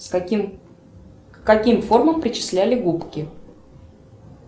к каким формам причисляли губки